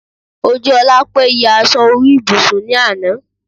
Ojúọlápé ya aṣọ orí ibùsùn ní àná